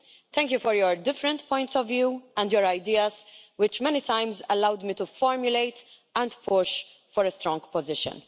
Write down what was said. Thank you for your different points of view and your ideas, which many times allowed me to formulate and push for a strong position.